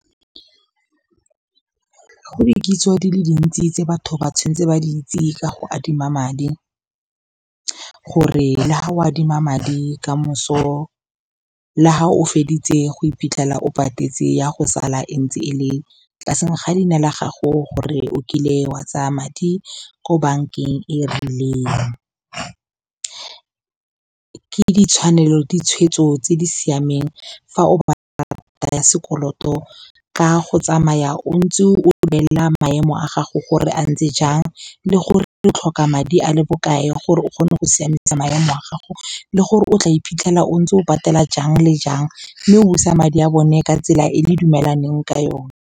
Go dikitso di le dintsi tse batho ba tshwanetse ba itse ka go adima madi. Gore le ga go adima madi ka moso, fa o feditse go iphitlhela o patetse, ya go sala e ntse e le tlase ga leina la gago, gore o kile wa tsaya madi ko bankeng e rileng, ke ditshwanelo le ditshwetso tse di siameng fa o batla karata ya sekoloto. Ka go tsamaya o ntse o lebelela maemo a gago gore a ntse jang le gore re tlhoka madi a le bokae gore o kgone go siamisa maemo a gago. Le gore o tla iphitlhela o ntse o patela jang le jang, mme busa madi a bone ka tsela e le dumelaneng ka yone.